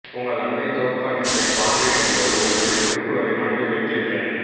உங்கள் அண்டை தோப்கோனிஸ்ட்டைப் பார்வையிடும்போது ஒரு சில குறிப்புகளை மனதில் வைத்திருங்கள்